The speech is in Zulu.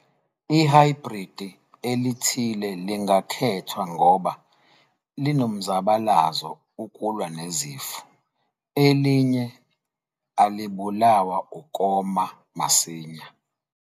Ihhayibhridi elithile lingakhethwa ngoba linomzabalazo ukulwa nezifo, elinye alibulawa ukoma masinya.